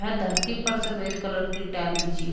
यहाँ धरती पर सफेद कलर की टैल बिछी हु--